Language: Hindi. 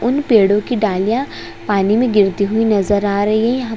उन पेड़ों की डालियाँ पानी में गिरती हुई नजर आ रही है यहाँ --